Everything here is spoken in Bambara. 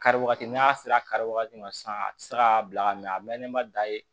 Kari wagati n'a sera kari wagati ma sisan a tɛ se k'a bila ka mɛn a mɛnnen ma da ye